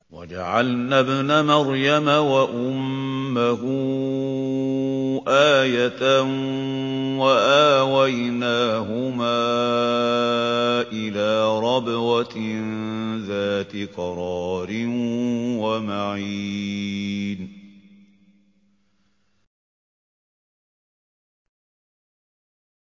وَجَعَلْنَا ابْنَ مَرْيَمَ وَأُمَّهُ آيَةً وَآوَيْنَاهُمَا إِلَىٰ رَبْوَةٍ ذَاتِ قَرَارٍ وَمَعِينٍ